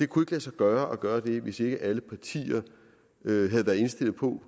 kunnet lade sig gøre gøre hvis ikke alle partier havde været indstillet på